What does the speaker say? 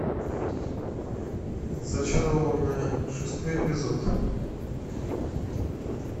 зачарованные шестой эпизод